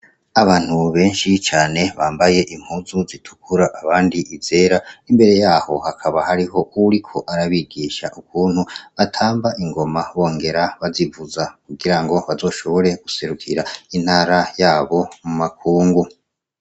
Abantu benshi cane bambaye impuzu zitukura abandi izera imbere yaho hakaba hariho uwuri ko arabigisha ukuntu batamba ingoma bongera bazivuza kugira ngo bazoshobore guserukira intara yabo mu makungu.